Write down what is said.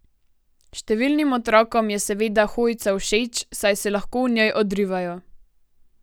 Številnim otrokom je seveda hojica všeč, saj se lahko v njej odrivajo.